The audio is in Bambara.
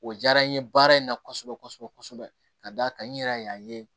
O diyara n ye baara in na kosɛbɛ kosɛbɛ kosɛbɛ ka da kan n yɛrɛ y'a ye